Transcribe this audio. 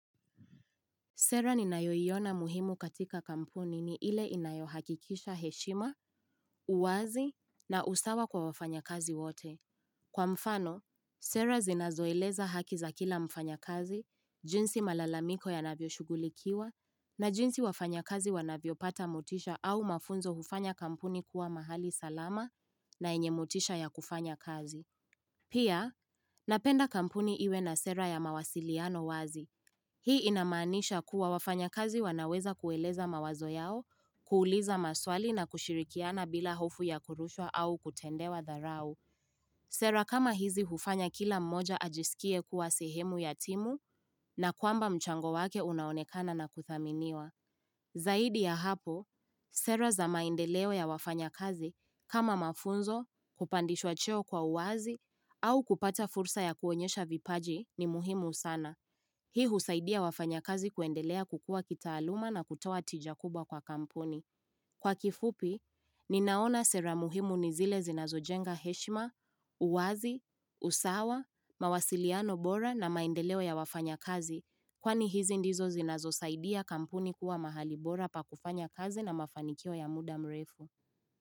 Sera ni nayoyiona muhimu katika kampuni ni ile inayohakikisha heshima, uwazi na usawa kwa wafanya kazi wote. Kwa mfano, Sera zinazoileza hakiza kila mfanya kazi, jinsi malalamiko ya navyo shugulikiwa na jinsi wafanya kazi wanavyo pata mutisha au mafunzo hufanya kampuni kuwa mahali salama na enye mutisha ya kufanya kazi. Pia, napenda kampuni iwe na sera ya mawasiliano wazi. Hii inamanisha kuwa wafanya kazi wanaweza kueleza mawazo yao, kuuliza maswali na kushirikiana bila hofu ya kurushwa au kutendewa dharau. Sera kama hizi hufanya kila mmoja ajisikie kuwa sehemu yatimu na kwamba mchango wake unaonekana na kuthaminiwa. Zaidi ya hapo, sera za maendeleo ya wafanya kazi kama mafunzo kupandishwa cheo kwa uwazi au kupata fursa ya kuonyesha vipaji ni muhimu sana. Hii husaidia wafanya kazi kuendelea kukua kitaaluma na kutowa tijakuba kwa kampuni. Kwa kifupi, ninaona sera muhimu nizile zinazo jenga heshima, uwazi, usawa, mawasiliano bora na maendeleo ya wafanya kazi kwani hizi ndizo zinazo saidia kampuni kuwa mahali bora pa kufanya kazi na mafanikio ya muda mrefu.